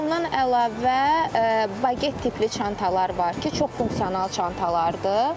Bundan əlavə baget tipli çantalar var ki, çox funksional çantalardır.